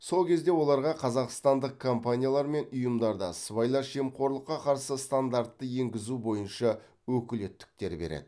сол кезде оларға қазақстандық компаниялар мен ұйымдарда сыбайлас жемқорлыққа қарсы стандартты енгізу бойынша өкілеттіктер береді